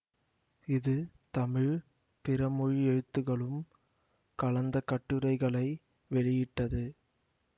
இது தமிழ் பிறமொழி எழுத்துகளும் கலந்த கட்டுரைகளை வெளியிட்டது